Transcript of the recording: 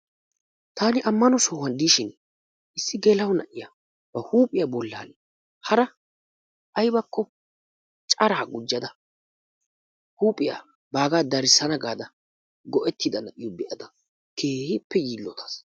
Taani ammano sohuwan de'ishin issi geela'o na'iya ba huuphiya bollan hara aybakko cara gujjada huuphiya baggaa darissaana gada go'ettida na'iyo be'ada keehippe yiillotaas.